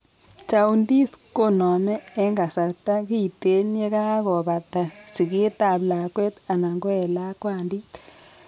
Jaundice koname en kasarta kiten yekako bata siget ab lakwet anan ko en lakwandit